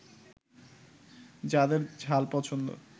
যাদের ঝাল পছন্দ